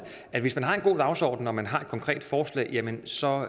at hvis man har en god dagsorden og man har et konkret forslag jamen så